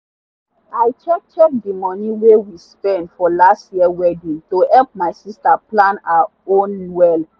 i check check the money wey we spend for last year wedding to help my sister plan her own well.